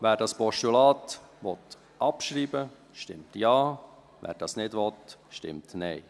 ( Wer dieses Postulat abschreiben will, stimmt Ja, wer dies nicht will, stimmt Nein.